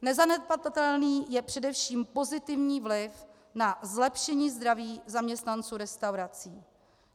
Nezanedbatelný je především pozitivní vliv na zlepšení zdraví zaměstnanců restaurací.